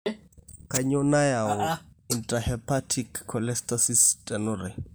Kainyio nayau i Intrahepatic cholestasis enutai?